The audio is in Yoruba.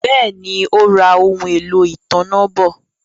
Béèni, Ó ra ohun-èlò ìtanná bọ̀